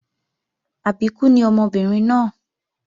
Àbíkú ni ọmọbìnrin náà